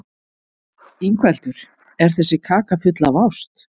Ingveldur: Er þessi kaka full af ást?